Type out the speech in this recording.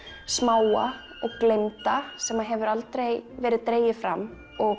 smáa og gleymda sem hefur aldrei verið dregið fram og